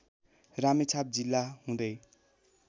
रामेछाप जिल्ला हुँदै